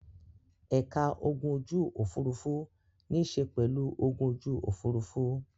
Ẹ̀ka ogun ojú-òfurufú níṣe pẹ̀lú ogun ojú òfurufú.